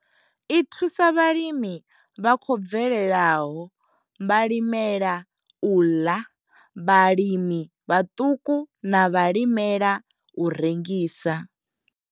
I thusa vhalimi vha khou bvelelaho vhalimela u ḽa vhalimi vhaṱuku na vhalimela u rengisa.